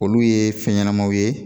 Olu ye fɛn ɲɛnamaw ye